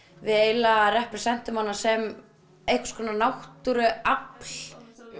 við eiginlega representum hana sem einhverskonar náttúruafl